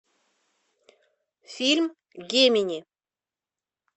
фильм гемини